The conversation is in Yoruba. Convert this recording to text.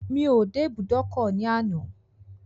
Mi ò dé ibùdókọ̀ ní àná.